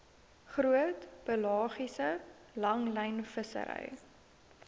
groot pelagiese langlynvissery